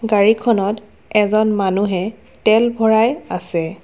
গাড়ীখনত এজন মানুহে তেল ভৰাই আছে।